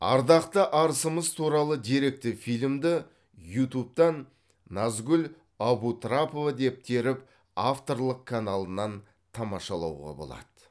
ардақты арысымыз туралы деректі фильмді ютубтан назгул абутрапова деп теріп авторлық каналынан тамашалауға болады